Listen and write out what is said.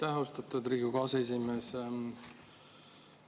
Aitäh, austatud Riigikogu aseesimees!